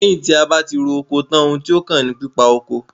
Lẹ́yìn tí a bá tí ro oko tán, oun tí ó kàn ní pípa oko.